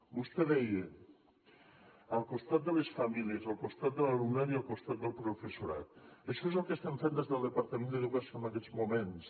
vostè deia al costat de les famílies al costat de l’alumnat i al costat del professorat això és el que estem fent des del departament d’educació en aquests moments